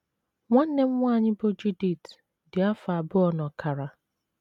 Nwanne m nwanyị bụ́ Judith dị afọ abụọ na ọkara.